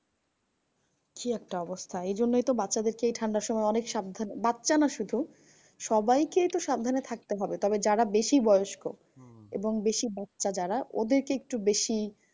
কি একটা অবস্থা? এইজন্যই তো বাচ্চাদের কে এই ঠান্ডার সময় অনেক সাবধানে। বাচ্চা না শুধু সবাইকেই তো সাবধানে থাকতে হবে তবে যারা বেশি বয়স্ক এবং বেশি বাচ্চা যারা ওদেরকে একটু বেশি